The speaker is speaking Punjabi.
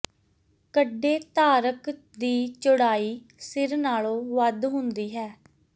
ਕੱਢੇ ਧਾਰਕ ਦੀ ਚੌੜਾਈ ਸਿਰ ਨਾਲੋਂ ਵੱਧ ਹੁੰਦੀ ਹੈ